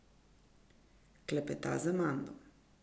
Klepeta z Amando.